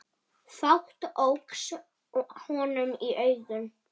Fátt óx honum í augum.